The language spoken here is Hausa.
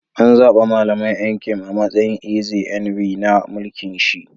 An zaba Mallam Nkem a'matsayin Eze Nri na mulki'n shi.